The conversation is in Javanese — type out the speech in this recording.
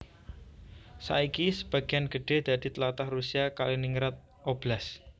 Saiki sebagéan gedhé dadi tlatah Rusia Kaliningrad Oblast